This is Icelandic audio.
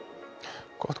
gott